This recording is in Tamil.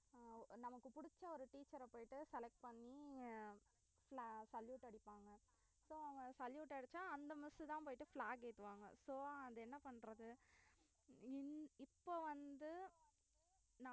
அஹ் நமக்கு புடிச்ச ஒரு teacher அ போயிட்டு select பண்ணி fla~ salute அடிப்பாங்க so அவுங்க salute அடிச்சா அந்த miss தான் போயிட்டு flag ஏத்துவாங்க so அது என்ன பண்ணறது இந்~ இப்ப வந்து